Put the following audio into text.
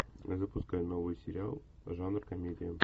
запускай новый сериал жанр комедия